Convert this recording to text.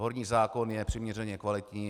Horní zákon je přiměřeně kvalitní.